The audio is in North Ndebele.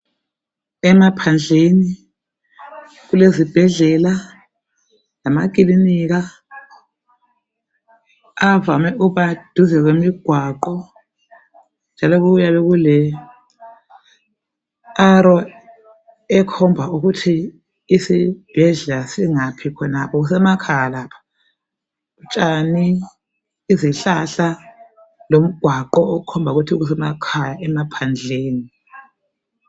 Emaphandleni kulezibhedlela lamakilinika, avame ukuba duze kwemigwaqo njalo kuyabe kule arrow ekhomba ukuthi isibhedlela singaphi khonapho. Kusemakhaya lapha, utshani, izihlahla lomgwaqo okhomba ukuthi kusemakhaya emaphandleni.